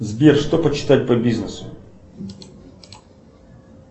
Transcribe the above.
сбер что почитать по бизнесу